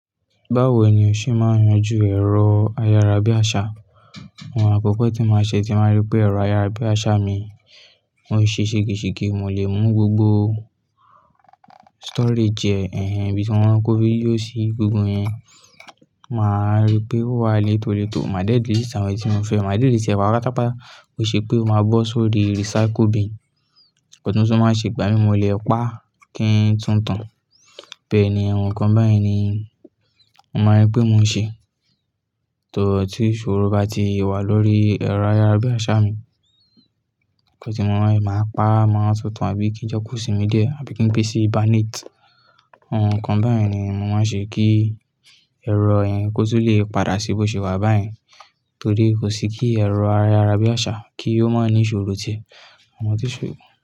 Báwo ni o ṣe máa ń yanjú èrò ayárabíàṣá, ohun àkókò tí mo màá ṣe tí màá ba rí pé ẹ̀rọ ayárabíàṣá mi máa ń ṣe ṣègéṣègé, mò lè mú gbogbo storage ẹ, ẹ́hẹ́n ibí tí mo maa kọ́ vidio sì gbogbo iyẹn. Máa rí pé ó wà létòletò, màá de delete àwọn èyi tí mo fẹ́, màá delete patapata, ki ṣe pé o máa bọ́ sórí recycle bin. Ọ̀túnṣún máa ṣe ìgbámímọ̀, lè pa kí ń túntàn. Bẹ́ẹ̀ ni, àwọn nǹkan bayii ni mò máa rí pé mò ń ṣe. Tọ tí ìṣòro bá ti wà lórí ẹ̀rọ ayárabíàṣá mi, nnkàn ti mo maa n, màá pa á, màá túntàn abí i kí n jẹ́ kó sìmí diẹ àbí kí n gbe si hibernate. Àwọn nǹkan bẹyẹn ni mo máa ń ṣe kí ẹ̀rọ yẹn kó tó lè padà sí bí ó ṣe wà báyẹn. Torí kò sí kí ẹ̀rọ ayárabíàṣá kí ó má ní ìṣòro ti ẹ́,